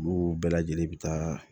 Olu bɛɛ lajɛlen bi taa